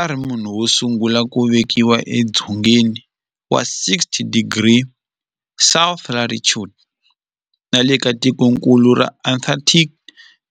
A ri munhu wosungula ku velekiwa edzongeni wa 60 degrees south latitude nale ka tikonkulu ra Antarctic,